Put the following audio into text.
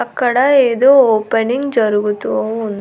అక్కడ ఏదో ఓపెనింగ్ జరుగుతూ ఉం.